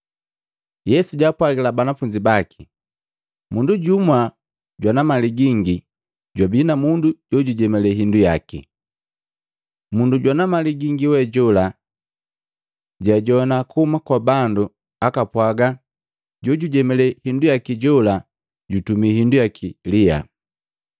Yesu jaapwagila banafunzi baki, “Mundu jumu jwana mali gingi jwabii na mundu jukujemalee hindu yaki. Mundu jwana mali gingi we jola, jaajoana kuhuma kwa bandu akapwaga jojujemalee hindu yaki jola jutumi hindu yaki liyaa.